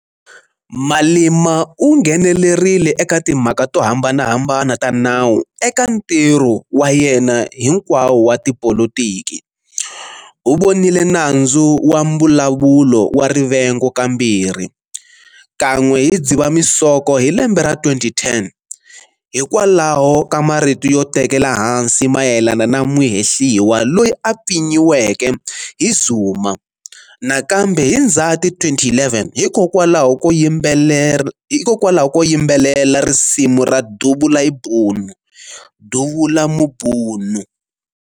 Malema u nghenelerile eka timhaka to hambanahambana ta nawu eka ntirho wa yena hinkwawo wa tipolotiki-u vonile nandzu wa mbulavulo wa rivengo kambirhi, kan'we hi Dzivamisoko hi lembe ra 2010 hikwalaho ka marito yo tekela ehansi mayelana na muhehliwa loyi a pfinyiweke hi zuma, na kambe hi Ndzati 2011 hikokwalaho ko yimbelela risimu ra""Dubul' ibhunu"", " Duvula Mubunu".